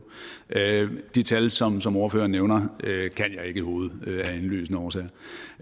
de tal som som ordføreren nævner kan jeg ikke i hovedet af indlysende årsager